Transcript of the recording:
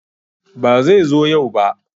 Ba zai zo yau ba